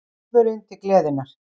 Óðurinn til gleðinnar.